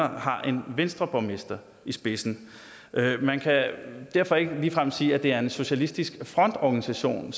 har en venstreborgmester i spidsen man kan derfor ikke ligefrem sige at det er en socialistisk frontorganisation